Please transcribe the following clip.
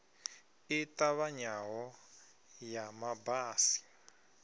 i ṱavhanyaho ya ma basi